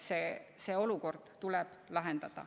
See olukord tuleb lahendada.